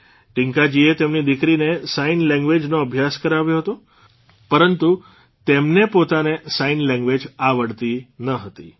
ટીંકાજીએ તેમની દીકરીને સાઇન લેંગ્વેઝનો અભ્યાસ કરાવ્યો હતો પરંતુ તેમને પોતાને સાઇન લેંગ્વેઝ આવડતી ન હતી